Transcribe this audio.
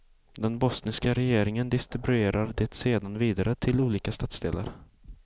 Den bosniska regeringen distribuerar det sedan vidare till olika stadsdelar.